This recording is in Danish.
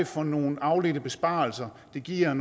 for nogle afledte besparelser det giver